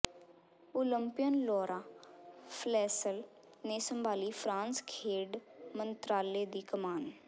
Olympian Laura Flessel ਨੇ ਸੰਭਾਲੀ France ਖੇਡ ਮੰਤਰਾਲੇ ਦੀ ਕਮਾਨ